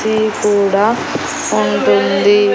ఇది కూడా ఉంటుంది.